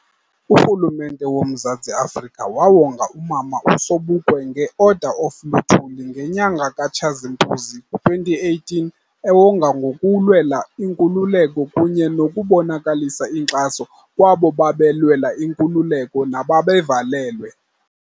Urhulumente woMzantsi Afrika wawonga umama uSobukwe nge-Order of luthuli ngenyanga kaTshazimpuzi 2018 ewongwa ngokulwela inkululeko kunye nokubonakalisa inkxaso kwabo babelwela inkululeko nababevalelwe.